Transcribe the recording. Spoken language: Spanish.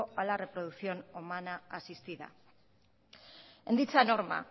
a la reproducción humana asistida en dicha norma